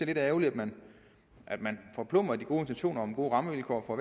lidt ærgerligt at man forplumrer de gode intentioner om gode rammevilkår for